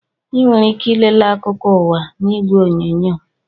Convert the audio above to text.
Ị nwere ike ị lele akụkọ ụwa n'igwe onyonyo